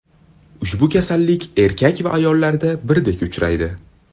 Ushbu kasallik erkak va ayollarda birdek uchraydi.